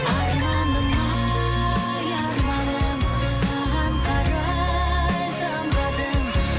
арманым ай арманым саған қарай самғадым